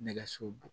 Nɛgɛso